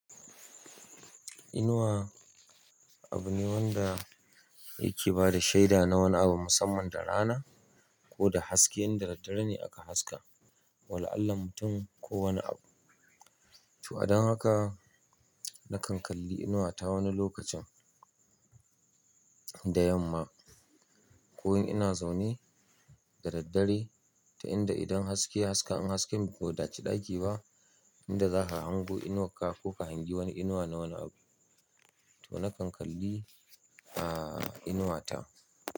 Inuwa abu ne wanda yake bada shaida na wani abu musamman da rana ko da haske inda dare ne aka haska. Wala'alla mutum ko wani abu. To a don haka nakan kalli inuwa ta wani lokacin da yamma ko in ina zaune da daddare, ta yanda idan ya haska in hasken bai wadaci ɗaki ba, yanda zaka hango inuwa ka ko ka hangi wani inuwa na wani abu to nakan kalli, a, inuwa ta.